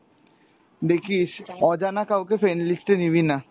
দেখিস অজানা কাউকে friend list এ নিবিনা।